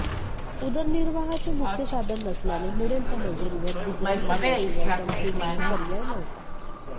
उदरनिर्वाहाचे मुख्य साधन नसल्याने मिळेल त्या मजुरीवर गुजराण करण्याशिवाय त्यांच्यासमोर पर्याय नव्हता